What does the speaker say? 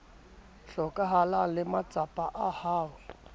hlokahalang le matsapa a ho